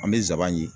An bɛ zaban ɲi